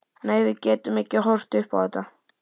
Nei, við getum ekki horft upp á þetta.